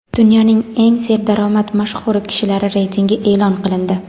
Dunyoning eng serdaromad mashhur kishilari reytingi e’lon qilindi.